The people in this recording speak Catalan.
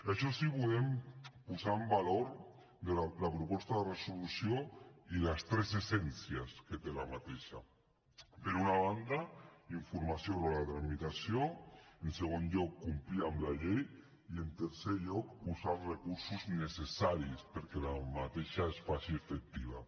això sí volem posar en valor la proposta de resolució i les tres essències que té aquesta per una banda informació sobre la tramitació en segon lloc complir amb la llei i en tercer lloc posar els recursos necessaris perquè aquesta es faci efectiva